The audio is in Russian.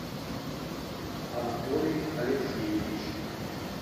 анатолий алексеевич